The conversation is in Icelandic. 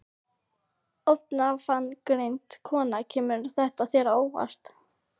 Ónafngreind kona: Kemur þetta þér á óvart?